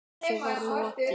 Þessu var lokið.